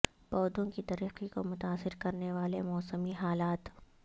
پودوں کی ترقی کو متاثر کرنے والے موسمی حالات